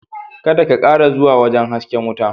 Kada ka/ki kara zuwa wajen hasken watan…